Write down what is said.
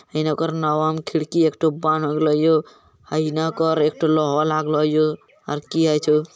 इने ओकर नवा में खिड़की एकठो हीने ओकर एकठो लोहा लागलो हियो आर की होय छै --